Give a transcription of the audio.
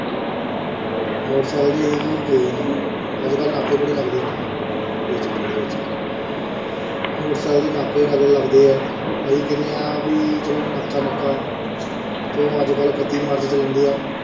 Motor cycle ਤੇ ਅਸੀਂ ਗਏ ਨੀ, ਅੱਜ ਕੱਲ੍ਹ ਨਾਕੇ ਬੜੇ ਲੱਗਦੇ ਆ ਨਾ ਇਹ ਚੱਕਰ ਦੇ ਵਿੱਚ ਮੋਟਰ ਸਾਇਕਲ ਦੇ ਨਾਕੇ ਲੱਗ~ ਲੱਗਦੇ ਆ, ਅਸੀਂ ਕਹੰਦੇ ਹਾਂ ਵੀ ਚਲੋ ਨਾਕਾ ਨੂਕਾ ਤੇ ਅੱਜ ਕੱਲ੍ਹ ਇਕੱਤੀ ਮਾਰਚ ਚੱਲਣ ਦਿਆ।